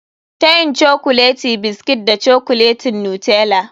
Tayin cokuleti biskit da cokuletin Nutella.